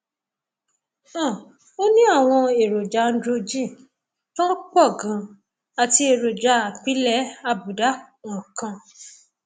um ó ní àwọn èròjà androgen tó um pọ ganan àti èròjà apilẹ àbùdá um kan